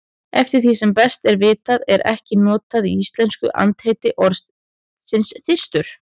Eftir því sem best er vitað er ekki notað í íslensku andheiti orðsins þyrstur.